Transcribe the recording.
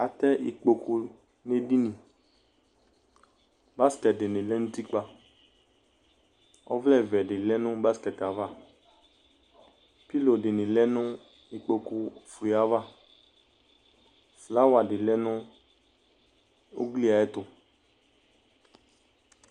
Atɛ ikpokʋ nʋ edini Basikɛti di ni lɛ nʋ utikpa Ɔvlɛ vɛ di lɛ nʋ basikɛti yɛ ava Pilo di ni lɛ nʋ ikpokʋ fue ava Flawa di lɛ nʋ ugli yɛ ayɛtʋ